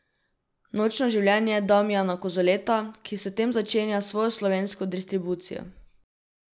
Nočno življenje Damijana Kozoleta, ki s tem začenja svojo slovensko distribucijo.